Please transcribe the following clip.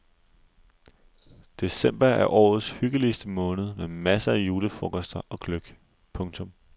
December er årets hyggeligste måned med masser af julefrokoster og gløgg. punktum